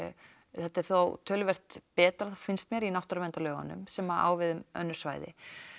þetta er þó töluvert betra finnst mér í náttúruverndarlögunum sem á við um önnur svæði